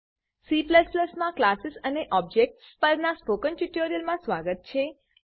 C માં classes classes અને objects objects પરનાં સ્પોકન ટ્યુટોરીયલમાં સ્વાગત છે